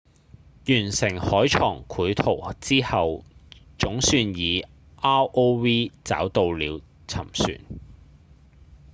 完成海床繪圖之後總算以 rov 找到了沉船